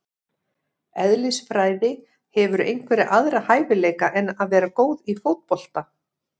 Eðlisfræði Hefurðu einhverja aðra hæfileika en að vera góð í fótbolta?